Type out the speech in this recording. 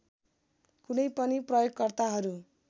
कुनै पनि प्रयोगकर्ताहरू